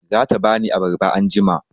Za ta ba ni abarba anjima.